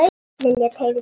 Lilla teygði sig fram.